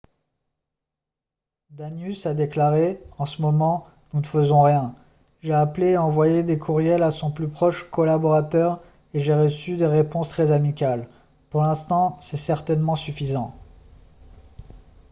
danius a déclaré :« en ce moment nous ne faisons rien. j'ai appelé et envoyé des courriels à son plus proche collaborateur et j'ai reçu des réponses très amicales. pour l'instant c'est certainement suffisant. »